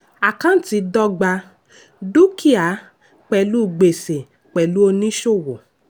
àkántì dọ́gba dúkìá pelu gbèsè pelu oníṣòwò.